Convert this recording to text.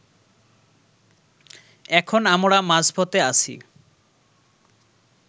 এখন আমরা মাঝপথে আছি